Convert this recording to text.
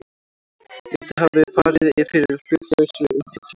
Lítið hafi farið fyrir hlutlausri umfjöllun